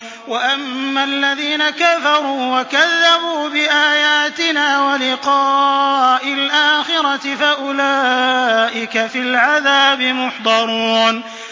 وَأَمَّا الَّذِينَ كَفَرُوا وَكَذَّبُوا بِآيَاتِنَا وَلِقَاءِ الْآخِرَةِ فَأُولَٰئِكَ فِي الْعَذَابِ مُحْضَرُونَ